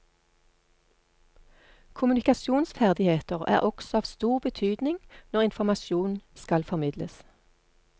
Kommunikasjonsferdigheter er også av stor betydning når informasjon skal formidles.